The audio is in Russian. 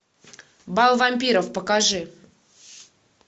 бал вампиров покажи